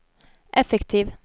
effektiv